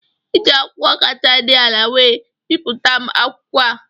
Iji akwụkwọ kacha dị ala wee bipụta m akwụkwọ a